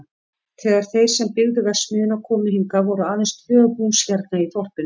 Þegar þeir sem byggðu verksmiðjuna komu hingað voru aðeins tvö hús hérna í þorpinu.